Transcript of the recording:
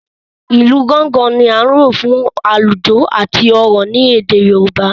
ilú Gángan ní a lò fún alujo àti òrò ní èdè yorùbá